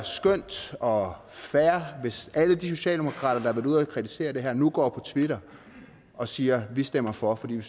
skønt og fair hvis alle de socialdemokrater der ude at kritisere det her nu går på twitter og siger vi stemmer for fordi vi